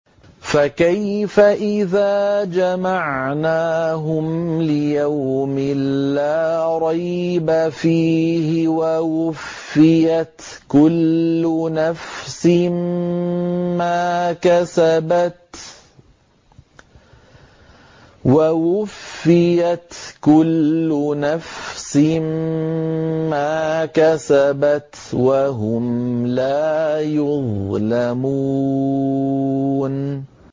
فَكَيْفَ إِذَا جَمَعْنَاهُمْ لِيَوْمٍ لَّا رَيْبَ فِيهِ وَوُفِّيَتْ كُلُّ نَفْسٍ مَّا كَسَبَتْ وَهُمْ لَا يُظْلَمُونَ